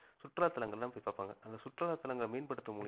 சுற்றுலா தலகளை எல்லாம் போய் பார்ப்பாங்க அந்த சுற்றுலா தலங்களை மேம்படுத்தும்